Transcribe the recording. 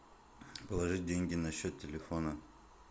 положить деньги на счет телефона